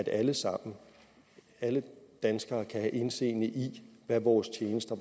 alle sammen alle danskere kan have indseende i hvad vores tjenester